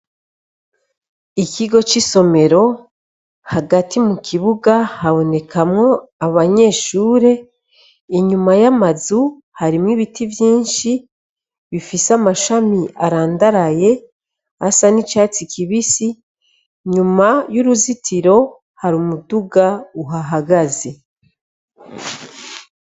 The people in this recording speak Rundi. Ikigo c'isomero, hagati mukibuga habonekamwo abanyeshure, inyuma y'amazu harimwo ibiti vyinshi bifise amashami arandaraye, asa n'icatsi kibisi, inyuma y'uruzitiro hari umuduga uhahagaze.